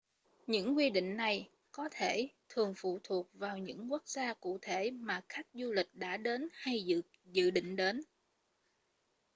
những quy định này có thể thường phụ thuộc vào những quốc gia cụ thể mà khách du lịch đã đến hay dự định đến